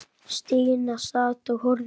Stína sat og horfði á.